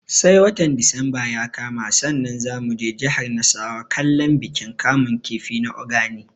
Sai watan disamba ya kama sannan za mu je jihar nasarawa kallon bikin kamun kifi na Ogani